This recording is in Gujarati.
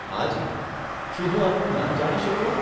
હાજી, શું હું આપનું નામ જાણી શકું?